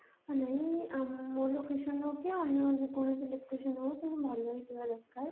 ନାଇଁ ଆମ location ହଉ କି ଅନ୍ୟ ଯେକୋଣସି location ହଉ କିନ୍ତୁ ଭଲ ହେଇଥିବା ଦରକାର